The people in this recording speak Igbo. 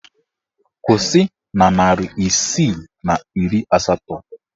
Kwụsị na narị isii na iri asatọ!